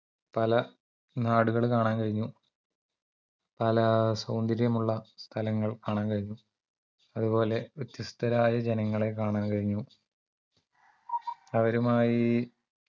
പല നാടുകൾ കാണാൻ കഴിഞ്ഞു പല സൗന്ദര്യമുള്ള സ്ഥലങ്ങൾ കാണാൻ കഴിഞ്ഞു അതുപോലെ വ്യത്യസ്തരായ ജനങ്ങളെ കാണാൻ കഴിഞ്ഞു അവരുമായി